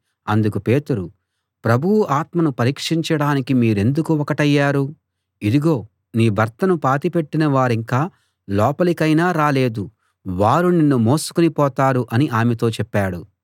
అందుకు పేతురు ప్రభువు ఆత్మను పరీక్షించడానికి మీరెందుకు ఒకటయ్యారు ఇదిగో నీ భర్తను పాతిపెట్టిన వారింకా లోపలికైనా రాలేదు వారు నిన్నూ మోసికుని పోతారు అని ఆమెతో చెప్పాడు